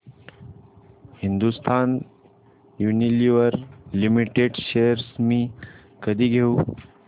Hindustan Unilever limited shares मी कधी घेऊ